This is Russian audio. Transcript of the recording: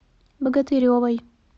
богатыревой